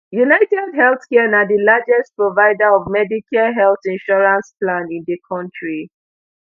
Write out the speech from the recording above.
unitedhealthcare na di largest provider of medicare health insurance plan in di kontri